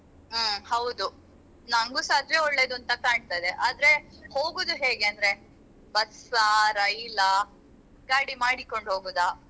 ಹ್ಮ್ ಹೌದು ನಂಗೂಸ ಅದೇ ಒಳ್ಳೇದಂತ ಕಾಣ್ತದೆ ಆದ್ರೆ ಹೋಗುದು ಹೇಗೆ ಅಂದ್ರೆ bus ಆ ರೈಲ್ ಆ ಗಾಡಿ ಮಾಡಿಕೊಂಡು ಹೋಗುದಾ?